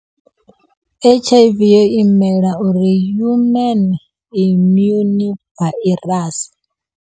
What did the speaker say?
H_I_V yo imela uri human immune virus.